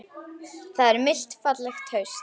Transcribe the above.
Það er milt fallegt haust.